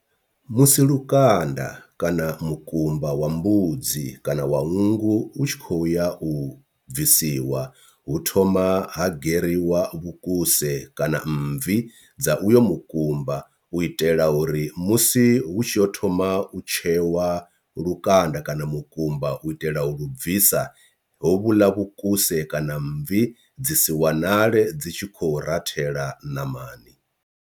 Musi lukanda kana mukumba wa mbudzi kana wa nngu u tshi khou ya u bvisiwa hu thoma ha geririwa vhukuse kana mmvi dza uyo mukumba, u itela uri musi hu tshi yo thoma u tshewa lukanda kana mukumba u itela u lu bvisa ho vhuḽa vhukuse kana mmvi dzi si wanale dzi tshi khou rathela ṋamani.